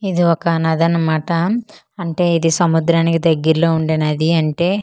ఇది ఒక నదన్నమాట అంటే ఇది సముద్రానికి దెగ్గిర్లో ఉండే నది అంటే--